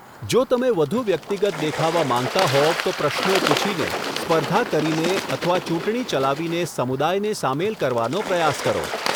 જો તમે વધુ વ્યક્તિગત દેખાવા માંગતા હોવ તો પ્રશ્નો પૂછીને, સ્પર્ધા કરીને અથવા ચૂંટણી ચલાવીને સમુદાયને સામેલ કરવાનો પ્રયાસ કરો.